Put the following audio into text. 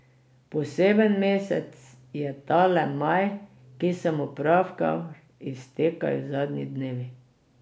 Poseben mesec je tale maj, ki se mu pravkar iztekajo zadnji dnevi.